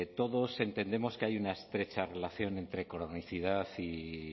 todos entendemos que hay una estrecha relación entre cronicidad y